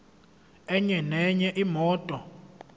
enye nenye imoto